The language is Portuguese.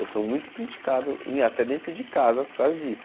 Eu sou muito criticado e até dentro de casa por causa disso.